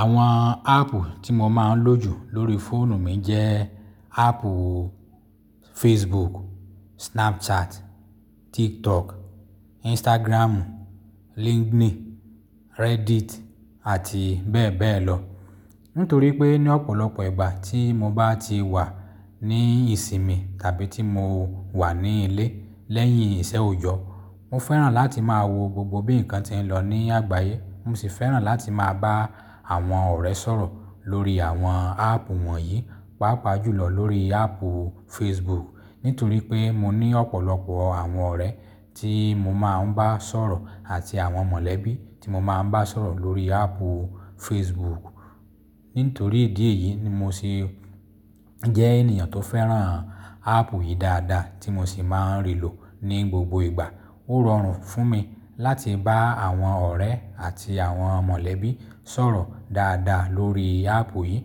Àwọn áàpù tí mo máa ń lò jù lórí fóònù mi jẹ́ áàpù Facebook, Snapchat, TikTok, Instagram, LinkedIn, Reddit àti bẹ́ẹ̀ bẹ́ẹ̀ lọ. Nítorí pé ní ọ̀pọ̀lọpọ̀ ìgbà tí mo bá ti wà ní ìsinmi tàbí tí mo wà ní ilé lẹ́yìn iṣẹ́ oyọ́, mo fẹ́ràn láti máa wo gbogbo bí nǹkan ti ń lọ ní àgbáyé. Mo sì fẹ́ràn láti máa bá àwọn ọ̀rẹ́ sọ̀rọ̀ lórí àwọn áàpù wọ̀nyí, pàápàá jùlọ lórí áàpù Facebook. Nítorí pé mo ní ọ̀pọ̀lọpọ̀ àwọn ọ̀rẹ́ tí mo máa ń bá sọ̀rọ̀ àti àwọn mọ̀lẹ́bí tí mo máa ń bá sọ̀rọ̀ lórí áàpù Facebook. Nítorí ìdí èyí ni mo sì jẹ́ ènìyàn tó fẹ́ràn áàpù yìí dáadáa tí mo sì máa ń rí lò ní gbogbo ìgbà. Ó rọrùn fún mi láti bá àwọn ọ̀rẹ́ àti àwọn mọ̀lẹ́bí sọ̀rọ̀ dáadáa lórí áàpù yìí.